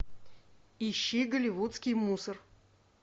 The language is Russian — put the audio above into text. ищи голливудский мусор